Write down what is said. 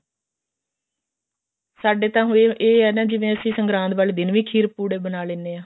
ਸਾਡੇ ਤਾਂ ਹੁਣ ਇਹ ਇਹ ਨਾ ਜਿਵੇਂ ਸੰਗਰਾਤ ਵਾਲੇ ਦਿਨ ਵੀ ਖੀਰ ਪੁੜੇ ਬਣਾ ਲੈਣੇ ਹਾਂ